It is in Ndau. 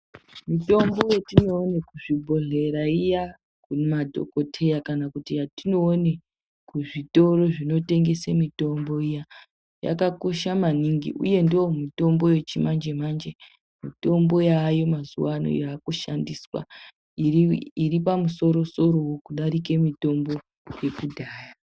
Mitombo yetino one ku zvibhodhlera iya madhokoteya kana atino one ku zvitoro zvino tengese mitombo iya yakakosha maningi uye ndo mutombo yechi manje manje mitombo yayo mazuva ano yaku shandiswa iri pamusoro soro wo kudarike mitombo yekudhaya.